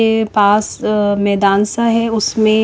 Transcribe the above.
के पास अ मैदान सा है उसमे--